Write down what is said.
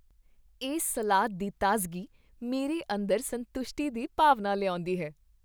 ਇਸ ਸਲਾਦ ਦੀ ਤਾਜ਼ਗੀ ਮੇਰੇ ਅੰਦਰ ਸੰਤੁਸ਼ਟੀ ਦੀ ਭਾਵਨਾ ਲਿਆਉਂਦੀ ਹੈ।